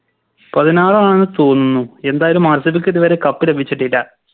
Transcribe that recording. പതിനാറാണ് തോന്നുന്നു എന്തായാലും RCB ക്ക് ഇത് വരെ Cup ലഭിച്ചിട്ടില്ല